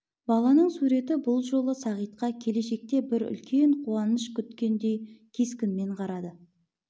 баланың суреті бұл жолы сағитқа келешекте бір үлкен қуаныш күткендей кескінмен қарады